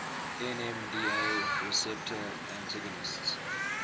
nmda receptor antagonists